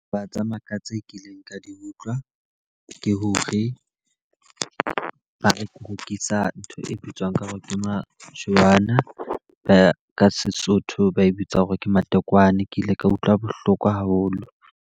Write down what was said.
Ba tsamaya ka tse kileng ka di utlwa, ke hore ba rekisa ntho e bitswang ka hore ke majwana. Ba ka Sesotho ba e bitsang hore ke matekwane, ke ile ka utlwa bohloko haholo.